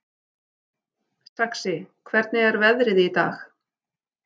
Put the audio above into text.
Saxi, hvernig er veðrið í dag?